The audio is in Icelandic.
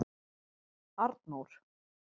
Arnór